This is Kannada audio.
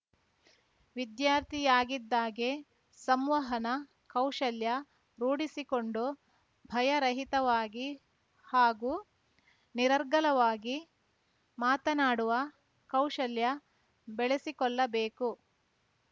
ವಿದ್ಯಾರ್ಥಿಯಾಗಿದ್ದಾಗೆ ಸಂವಹನ ಕೌಶಲ್ಯ ರೂಡಿಸಿಕೊಂಡು ಭಯ ರಹಿತವಾಗಿ ಹಾಗೂ ನಿರರ್ಗಳವಾಗಿ ಮಾತನಾಡುವ ಕೌಶಲ್ಯ ಬೆಳಸಿಕೊಳ್ಳಬೇಕು